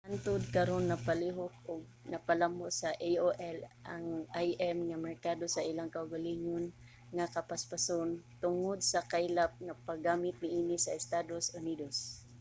hangtud karon napalihok ug napalambo sa aol ang im nga merkado sa ilang kaugalingon nga kapaspason tungod sa kaylap nga paggamit niini sa estados unidos